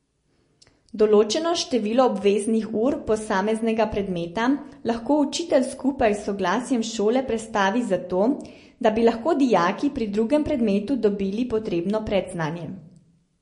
Določeno število obveznih ur posameznega predmeta lahko učitelj skupaj s soglasjem šole prestavi zato, da bi lahko dijaki pri drugem predmetu dobili potrebno predznanje.